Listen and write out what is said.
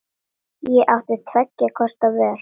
Ég átti tveggja kosta völ.